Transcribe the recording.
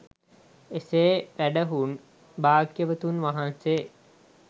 එසේ වැඩහුන් භාග්‍යවතුන් වහන්සේ